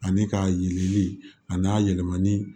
Ani k'a yeli ani a yɛlɛmani